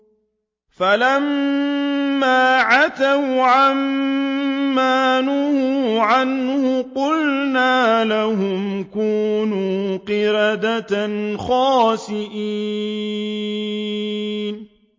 فَلَمَّا عَتَوْا عَن مَّا نُهُوا عَنْهُ قُلْنَا لَهُمْ كُونُوا قِرَدَةً خَاسِئِينَ